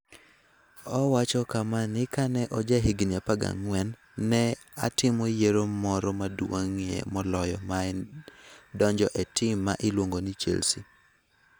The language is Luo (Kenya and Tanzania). Owacho kama ni Ka ne ojahigni 14, ne atimo yiero moro maduong'ie moloyo ma en donjo e tim ma iluongo ni Chelsea.